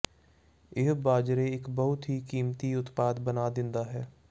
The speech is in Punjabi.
ਇਹ ਬਾਜਰੇ ਇੱਕ ਬਹੁਤ ਹੀ ਕੀਮਤੀ ਉਤਪਾਦ ਬਣਾ ਦਿੰਦਾ ਹੈ